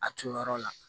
A turu yɔrɔ la